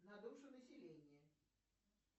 на душу населения